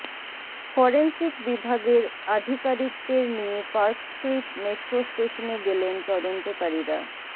forensic বিভাগের আধিকারিকদের নিয়ে পার্ক স্ট্রিট মেট্রো স্টেশনে গেলেন তদন্তকারীরা